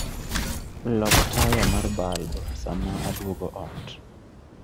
Lok taya mar balb sama aduogo ot.